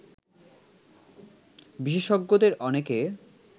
বিশেষজ্ঞদের অনেকে